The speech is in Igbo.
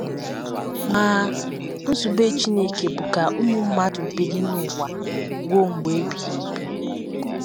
Ma, nzube Chineke bụ ka ụmụ mmadụ biri n’ụwa ruo mgbe ebighị ebi.